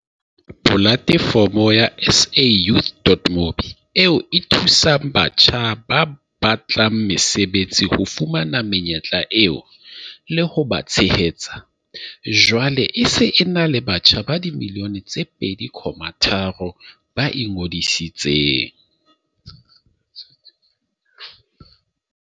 Polatefomo ya SAYouth.mobi, eo e thusang batjha ba batlang mesebetsi ho fumana menyetla eo, le ho ba tshehetsa, jwale e se e na le batjha ba dimilione tse 2.3 ba ingodisitseng.